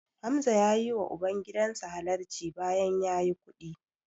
Hamza ya yiwa ubangidan sa halarci bayan ya yi kuɗi.